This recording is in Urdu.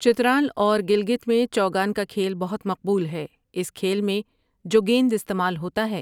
چترال اور گلگت میں چوگان کا کھیل بہت مقبول ہے اس کھیل میں جو گیند استعمال ہوتا ہے ۔